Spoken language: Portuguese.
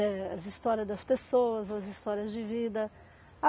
Eh, as histórias das pessoas, as histórias de vida.